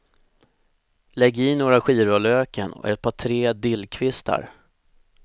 Lägg i några skivor av löken och ett par tre dillkvistar.